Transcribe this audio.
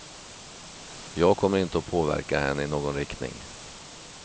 Jag kommer inte att påverka henne i någon riktning.